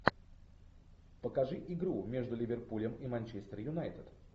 покажи игру между ливерпулем и манчестер юнайтед